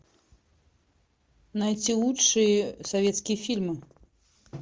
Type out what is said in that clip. найти лучшие советские фильмы